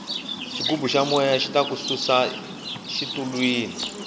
xigubu xa moya xita ku susa xitulwini